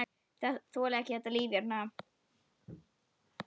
Þoli ekki þetta líf hérna.